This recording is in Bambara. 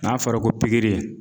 N'a fɔra ko pikiri